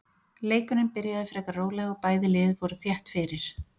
Leikurinn byrjaði frekar rólega og bæði lið voru þétt fyrir.